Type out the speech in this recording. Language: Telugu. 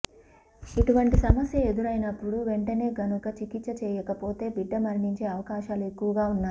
ఇటువంటి సమస్య ఎదురయినప్పుడు వెంటనే గనుక చికిత్స చేయకపోతే బిడ్డ మరణించే అవకాశాలు ఎక్కువగా ఉన్నాయి